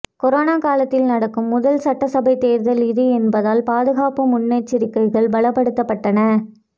corona காலத்தில் நடக்கும் முதல் சட்டசபை தேர்தல் இது என்பதால் பாதுகாப்பு முன்னெச்சரிக்கைகள் பலப்படுத்தப்பட்டன